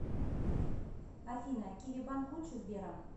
афина киви банк лучше сбера